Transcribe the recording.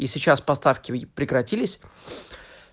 и сейчас поставки ведь прекратились